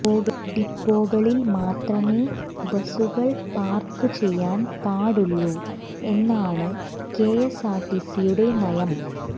ഡിപ്പോകളിൽ മാത്രമേ ബസുകൾ പാർക്ക് ചെയ്യാൻ പാടുള്ളൂ എന്നാണ് കെഎസ്ആർടിസിയുടെ നയം